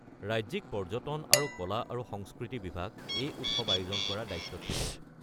ৰাজ্যিক পৰ্যটন আৰু কলা আৰু সংস্কৃতি বিভাগ এই উৎসৱ আয়োজন কৰাৰ দায়িত্বত থাকে।